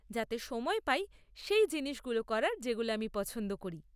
যাতে সময় পাই সেই জিনিসগুলো করার যেগুলো আমি পছন্দ করি।